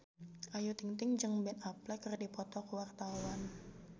Ayu Ting-ting jeung Ben Affleck keur dipoto ku wartawan